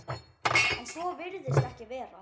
En svo virðist ekki vera.